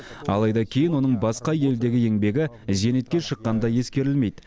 алайда кейін оның басқа елдегі еңбегі зейнетке шыққанда ескерілмейді